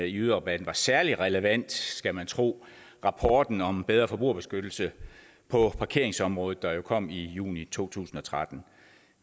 i yderrabatten var særlig relevant skal man tro rapporten om bedre forbrugerbeskyttelse på parkeringsområdet der kom i juni to tusind og tretten